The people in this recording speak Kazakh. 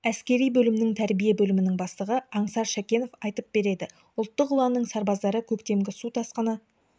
әскери бөлімнің тәрбие бөлімінің бастығы аңсар шәкенов айтып береді ұлттық ұланның сарбаздары көктемгі су тасқыны